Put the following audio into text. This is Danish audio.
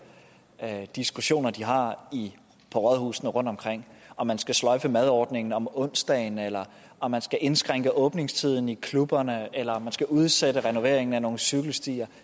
diskussioner de har på rådhuset rundt omkring om man skal sløjfe madordningen om onsdagen eller om man skal indskrænke åbningstiden i klubberne eller om man skal udsætte renoveringen af nogle cykelstier